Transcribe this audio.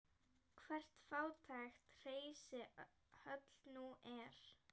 Hvert fátækt hreysi höll nú er.